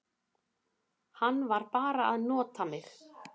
Hann var bara að nota mig.